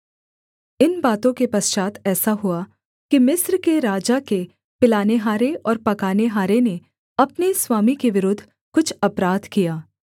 इन बातों के पश्चात् ऐसा हुआ कि मिस्र के राजा के पिलानेहारे और पकानेहारे ने अपने स्वामी के विरुद्ध कुछ अपराध किया